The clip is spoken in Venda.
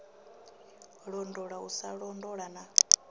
londola u sa londola na